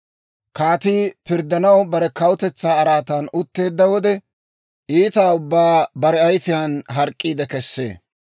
Kaatii pirddanaw bare kawutetsaa araatan utteedda wode, iita ubbaa bare ayifiyaan hark'k'iide kessee.